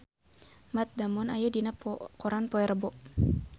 Matt Damon aya dina koran poe Rebo